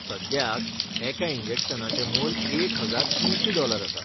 सद्याक एका इंजेक्शनाचें मोल एक हजार तिनशी डॉलर आसा.